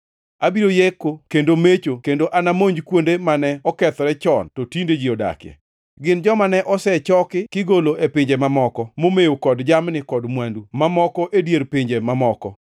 Abiro yeko kendo mecho kendo anamonj kuonde mane okethore chon to tinde ji odakie. Gin joma ne osechaki kigolo e pinje mamoko momew kod jamni kod mwandu mamoko e dier pinje mamoko.”